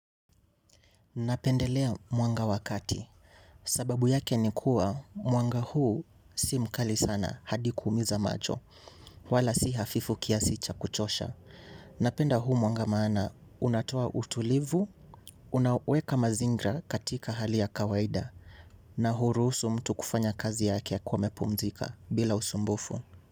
Napendelea mwanga wakati. Sababu yake nikua mwanga huu si mkali sana hadi kumiza macho wala si hafifu kiasicha kuchosha. Napenda huu mwanga maana unatoa utulivu, unaweka mazingra katika hali ya kawaida na hurusu mtu kufanya kazi yake ya akiwa amepumzika bila usumbufu.